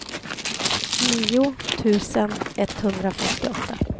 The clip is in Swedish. nio tusen etthundrafemtioåtta